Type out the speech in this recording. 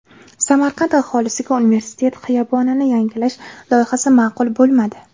Samarqand aholisiga universitet xiyobonini yangilash loyihasi ma’qul bo‘lmadi.